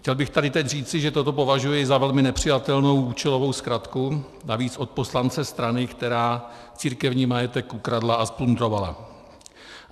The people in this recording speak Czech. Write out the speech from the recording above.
Chtěl bych tady teď říci, že toto považuji za velmi nepřijatelnou, účelovou zkratku, navíc od poslance strany, která církevní majetek ukradla a zplundrovala.